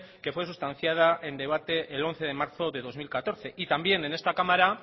que fue sustanciada en debate el once de marzo del dos mil catorce y también en esta cámara